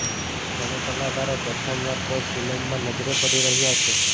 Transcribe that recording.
ત્રણે કલાકારો પ્રથમ વાર કોઈ ફિલ્મમાં નજરે પડી રહ્યાં છે